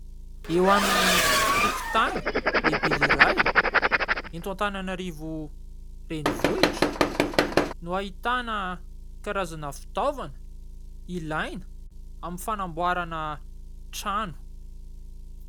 Eo amin'ny tokontany lehibe iray eto Antananarivo renivohitra no ahitana karazana fitaovana ilaina amin'ny fanamboarana trano.